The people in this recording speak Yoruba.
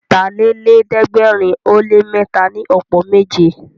Ọ̀tàlélẹ̀ẹ́dẹ́gbẹ̀rin ó lé mẹ́ta ni ọ̀pọ̀ méje